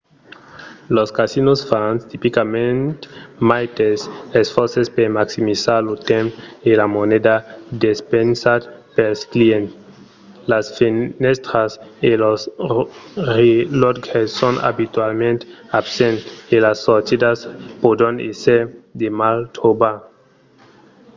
los casinos fan tipicament maites esfòrces per maximizar lo temps e la moneda despensats pels clients. las fenèstras e los relòtges son abitualament absents e las sortidas pòdon èsser de mal trobar